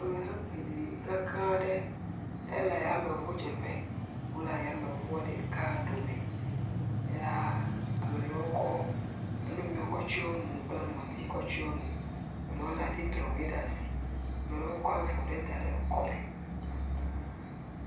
Nuɖiɖi keklẽ aɖe. Ele ayameŋudzeƒe. Wole ayameŋu ɖeka ɖome, eya, ame aɖewo kɔ nuu mi wokɔ tsyɔɔ nu kple ŋɔti kɔ tsyɔɔ nu. Eɖewo lé atitrɔŋui ɖe asi. Ame ɖewo kɔ avɔ ɖe da ɖe kɔme.